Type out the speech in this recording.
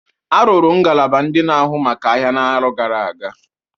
Arụrụ ngalaba ndị na agụ maka ahịa n'arọ gara aga?